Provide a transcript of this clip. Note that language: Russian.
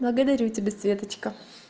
благодарю тебя светочка